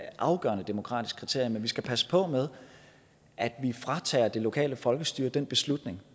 afgørende demokratisk kriterie men vi skal passe på med at fratage det lokale folkestyre den beslutning